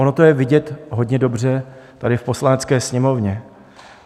Ono to je vidět hodně dobře tady v Poslanecké sněmovně.